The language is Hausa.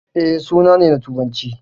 E, suna ne na Turanci.